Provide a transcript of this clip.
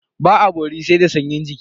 Ba a bori da sanyin jiki.